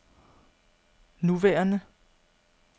nuværende